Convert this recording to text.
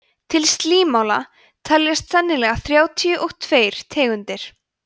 til slímála teljast sennilega þrjátíu og tveir tegundir